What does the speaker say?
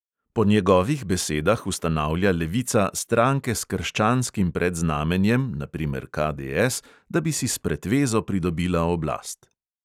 Po njegovih besedah ustanavlja levica stranke s krščanskim predznamenjem, na primer KDS, da bi si s pretvezo pridobila oblast.